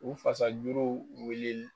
U fasa juruw wuli